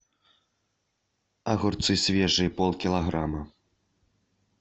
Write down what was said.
огурцы свежие пол килограмма